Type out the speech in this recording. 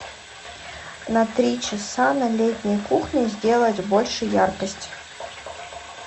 на три часа на летней кухне сделать больше яркость